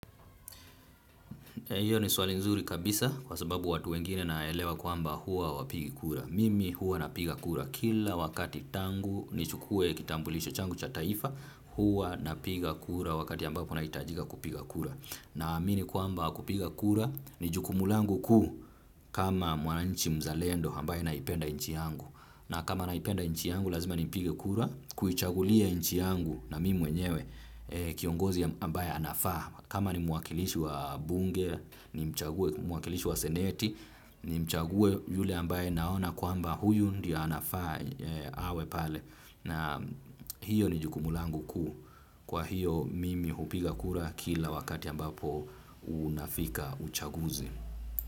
Hiyo ni swali nzuri kabisa kwa sababu watu wengine naelewa kwamba huwa hawapigi kura. Mimi huwa napiga kura kila wakati tangu nichukue kitambulisho changu cha taifa huwa napiga kura wakati ambapo nahitajika kupiga kura. Naamini kwamba kupiga kura ni jukumu langu kuu kama mwananchi mzalendo ambaye naipenda inchi yangu. Na kama naipenda inchi yangu lazima nipige kura, kuichagulia inchi yangu na mimi mwenyewe kiongozi ambaye anafaa. Kama ni mwakilishi wa bunge, nimchague mwakilishi wa seneti, nimchague yule ambaye naona kwamba huyu ndiyo anafaa awe pale. Na hiyo ni jukumu langu kuu. Kwa hiyo mimi hupiga kura kila wakati ambapo unafika uchaguzi.